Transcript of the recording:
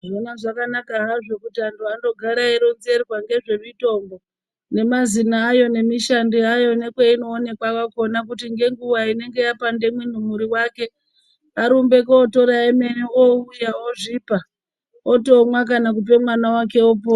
Zvona zvakanaka hazvo kuti antu andogara eironzerwa ngezvemutombo nemazino ayo nemishando yayo nekwainooneka kwakhona kuti ngwnguwa inonga yapanda mumwiri wake arimbe kutora emene ouya ozvipa otomwa kana kupe mwana wae opora.